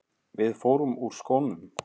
Við förum úr skónum.